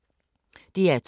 DR2